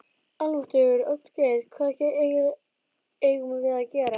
Almáttugur, Oddgeir, hvað eigum við að gera?